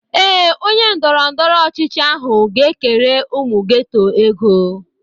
Ee, onye ndọrọndọrọ ọchịchị ahụ ga-ekere ụmụ geto ego.